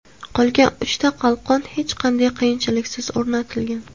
Qolgan uchta qalqon hech qanday qiyinchiliksiz o‘rnatilgan.